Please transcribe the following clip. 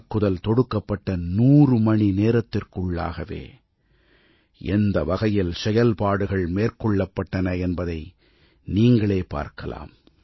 தாக்குதல் தொடுக்கப்பட்ட 100 மணி நேரத்திற்குள்ளாகவே எந்த வகையில் செயல்பாடுகள் மேற்கொள்ளப்பட்டன என்பதை நீங்களே பார்க்கலாம்